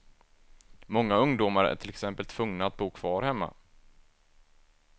Många ungdomar är till exempel tvungna att bo kvar hemma.